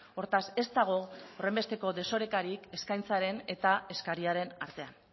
hortaz ez dago horrenbesteko desorekarik eskaintzaren eta eskariaren artean